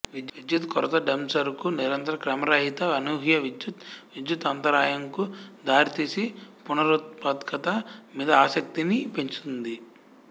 విద్యుత్తు కొరత డంసరుకు నిరంతర క్రమరహిత అనూహ్య విద్యుత్ విద్యుత్తు అంతరాయం కు దారితీసి పునరుత్పాదకత మీద ఆసక్తిని పెంచుతుంది